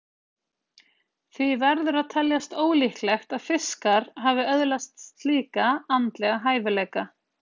Því verður að teljast ólíklegt að fiskar hafi öðlast slíka andlega hæfileika.